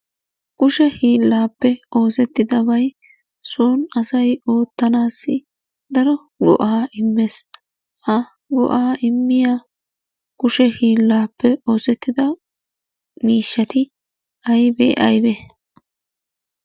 Kushe hiillappe oosettidabay soon asay oottanaassi daro go'aa immees. Ha go'aa immiya kushe hiillaappe oosettida miishshati aybe aybee?